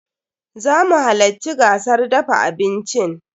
Zamu halacci gasar dafa abincin.